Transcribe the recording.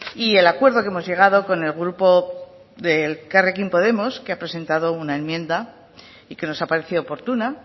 y el acuerdo que hemos llegado con el grupo de elkarrekin podemos que ha presentado una enmienda y que nos ha parecido oportuna